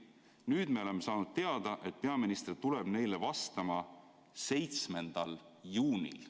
Nüüdseks me oleme saanud teada, et peaminister tuleb neile vastama 7. juunil.